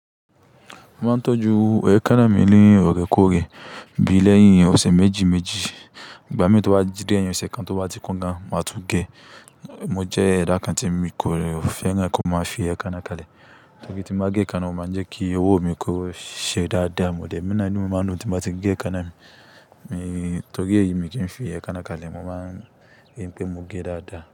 Mo máa ń tọ́jú èékánná mi ní ọ̀rẹ́kòrẹ, bí i lẹ́yìn ọ̀sẹ̀ méjì méjì, ìgbà míi tó bá di ẹ̀yin ọ̀sẹ̀ kan tó bá ti kún gan, màá tún gé. Mo jẹ́ ẹ̀dà kan tí mo kò fẹ́ràn kí ó máa fi èékánná kalẹ̀. Torí tí mo máa gé èékánná, o máa ń jẹ́ kí ọwọ́ mi kó ṣe dáadáa, emi naa inú mi máa dùn tí n bá ti gé èékánná mi. Torí èyi ni mi kí ń fi èékánná kalẹ̀, mo máa ń rí pé mo gé dáadáa.